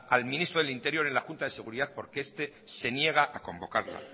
al ministro del interior en la junta de seguridad porque este se niega a convocarla